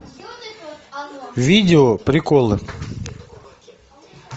видео приколы